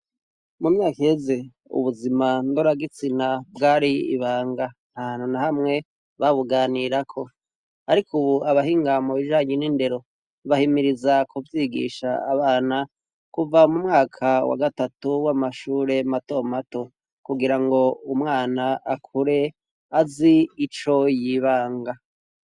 Mu myaka iheze ubuzima ndoragitsina bwari ibanga, ntahantu na hamwe babuganirako. Ariko ubu, abahinga mubijanye n'indero bahimiriza kuvyigisha abana kuva mu mwaka wa gatatu w'amashure mato mato, kugira ngo umwana akure azi ico yibanga.